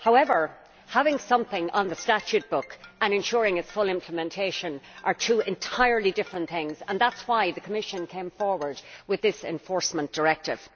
However, having something on the statue book and ensuring its full implementation are two entirely different things, and that is why the Commission came forward with this enforcement directive.